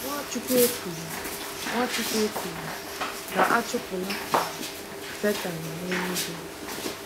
Nwachukwu ekwughị Nwachukwu ekwughị na a chụpụla um Setan n'eluigwe.